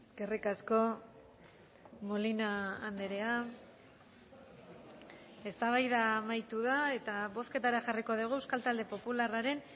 eskerrik asko molina andrea eztabaida amaitu da eta bozketara jarriko dugu euskal talde popularraren